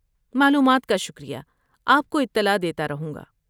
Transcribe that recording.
معلومات کا شکریہ، آپ کو اطلاع دیتا رہوں گا۔